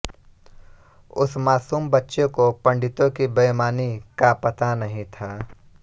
उस मासूम बच्चे को पंडितो की बईमानी का पता नहीं था